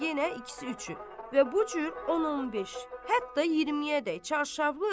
Sonra yenə ikisi üçü və bu cür 10-15, hətta 20-yədək çarşaflı övrət.